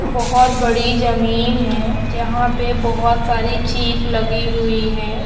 बोहत बड़ी जममें है जंहा पे बोहत सारी चीप लगी हुई है ।